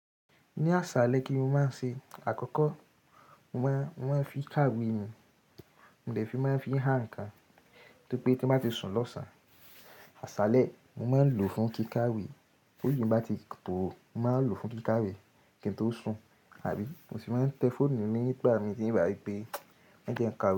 Ní àsàlẹ kíni mò má n ṣe? Àkọ́kọ́, mo máa ń, mo máa fi i kàwé ni, mò dè fi máa ń fi i há nǹkan tó pé tí n bá ti sùn lọ̀sán. Àsálẹ́ mò máa ń lò fún kíkàwé bóri mi bá ti tò, mò máa ń lò fún kíkàwé kí n tó sùn àbí mò sì máa ń tẹ fóònù nígbà mìí, n wá wípé e jẹ́ n ka.